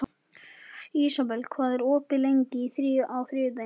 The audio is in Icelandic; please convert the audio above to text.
Ísabel, hvað er opið lengi á þriðjudaginn?